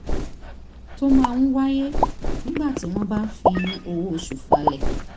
tó máa ń wáyé nígbà tí wọ́n bá ń fi owó oṣù falẹ̀